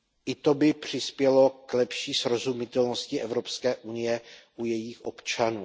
I to by přispělo k lepší srozumitelnosti Evropské unie u jejích občanů.